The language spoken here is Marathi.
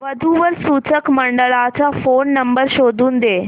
वधू वर सूचक मंडळाचा फोन नंबर शोधून दे